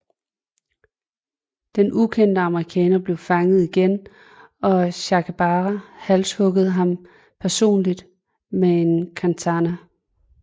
Den ukendte amerikaner blev fanget igen og Sakaibara halshuggede ham personligt med en katana